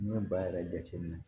N'i ye baa yɛrɛ jateminɛ